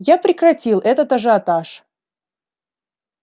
я прекратил этот ажиотаж